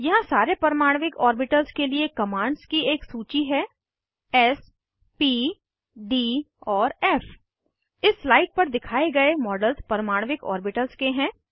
यहाँ सारे परमाणविक ऑर्बिटल्स के लिए कमांड्स की एक सूची है एस प डी और फ़ इस स्लाइड पर दिखाए गए मॉडल्स परमाणविक ऑर्बिटल्स के हैं